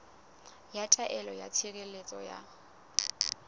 ya taelo ya tshireletso ya